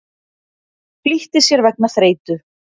Flýtti sér vegna þreytu